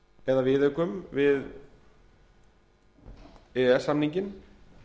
eða viðaukum við e e s samninginn